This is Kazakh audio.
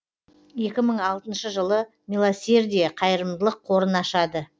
екі мың алтыншы жылы милосердие қайырымдылық қорын ашады